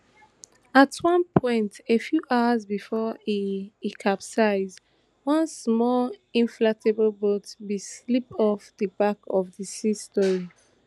at one point a few hours bifor e e capsizie one small inflatable boat bin slip off di back of di sea story